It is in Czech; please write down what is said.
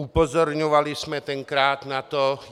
Upozorňovali jsme tenkrát na to.